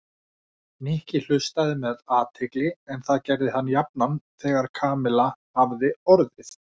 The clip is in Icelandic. Nikki hlustaði með athygli en það gerði hann jafnan þegar Kamilla hafði orðið.